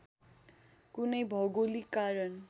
कुनै भौगोलिक कारण